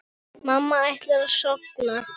Mamma ætlar að sofna.